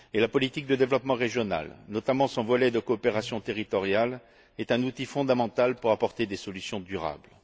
La politique de développement régional, notamment son volet de coopération territoriale, est un outil fondamental pour y apporter des solutions durables.